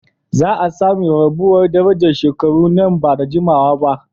Za a sami rarrabuwar darajar shekaru nan ba da jimawa ba